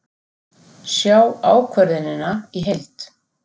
Sjá ákvörðunina í heild